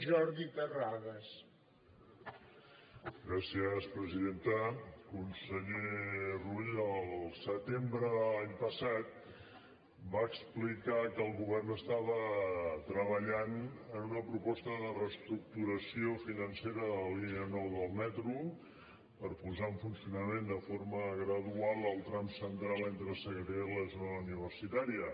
conseller rull al setembre de l’any passat va explicar que el govern estava treballant en una proposta de reestructuració financera de la línia nou del metro per posar en funcionament de forma gradual el tram central entre sagrera i la zona universitària